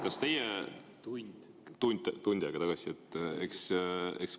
Kas tund aega tagasi?